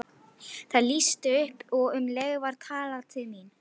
Það lýstist upp og um leið var talað til mín.